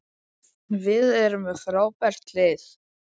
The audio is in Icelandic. Við erum með frábært lið.